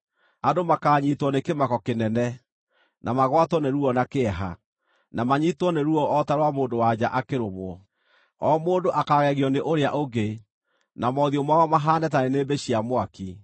Andũ makaanyiitwo nĩ kĩmako kĩnene, na magwatwo nĩ ruo na kĩeha, na manyiitwo nĩ ruo o ta rwa mũndũ-wa-nja akĩrũmwo. O mũndũ akaagegio nĩ ũrĩa ũngĩ, na mothiũ mao mahaane ta nĩnĩmbĩ cia mwaki.